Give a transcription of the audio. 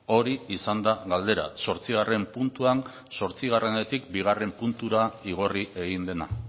hori izan da galdera zortzigarren puntuan zortzigarrenetik bigarren puntura igorri egin dena